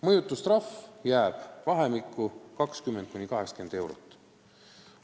Mõjutustrahv jääb vahemikku 20–80 eurot.